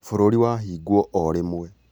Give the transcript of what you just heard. bũrũrĩ wahingwo o rĩmwe